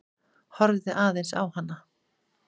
Horfði aðeins á hana.